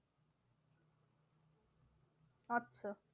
আচ্ছা